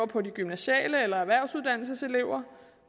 på de gymnasiale uddannelser eller erhvervsuddannelseselever